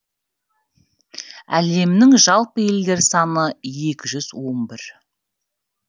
әлемнің жалпы елдер саны екі жүз он бір